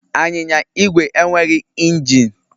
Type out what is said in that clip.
Anyịnya Igwe enweghị injin